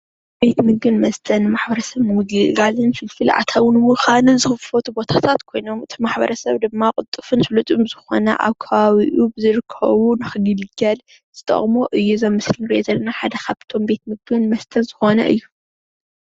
ቤተ ምግብን መስተን ማሕበረሰብ ንምግልጋልን ፍልፍል አታዊ ንምኻን ዝክፈቱ ቦታታት ኮይኖም እቲ ማሕበረሰብ ድማ ቁልጥፉን ስሉጥን ብዝኾነ አብ ከባቢኡ ብዝረከቡ ንክግልገል ዝጠቅሙ እዩ እዚ ምስሊ ንሪኦ ዘለና ሓደ ካብቶም ቤት ምግቢ መስተን ዝኮነ እዩ፡፡